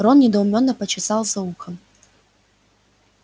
рон недоуменно почесал за ухом